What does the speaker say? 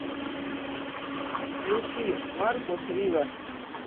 включи маркус рива